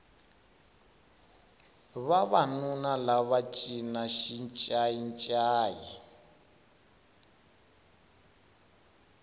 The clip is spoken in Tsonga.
vavanuna lava va cina xincayi ncayi